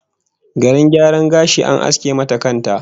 Garin gyaran gashi, an aske mata kan ta!